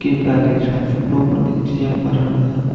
taisha phublo dingchijaipa thrang taiga.